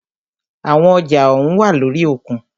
Àwọn ọjà ohùn wá lórí òkun.